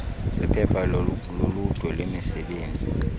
zephepha loludwe lwemisebenzi